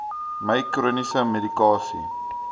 my chroniese medikasie